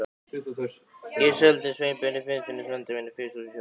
Ég seldi Sveinbirni Finnssyni, frænda mínum, frystihúsið í Höfnum.